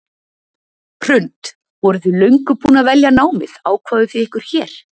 Hrund: Voruð þið löngu búin að velja námið, ákváðuð þið ykkur hér?